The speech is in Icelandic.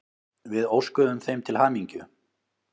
Við óskuðum þeim til hamingju.